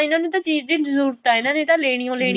ਇਹਨਾ ਨੂੰ ਤਾਂ ਚੀਜ ਦੀ ਜਰੂਰਤ ਆ ਇਹਨਾ ਨੇ ਤਾਂ ਲੈਣੀ ਹੀ